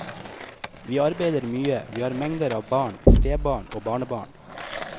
Vi arbeider mye, vi har mengder av barn, stebarn og barnebarn.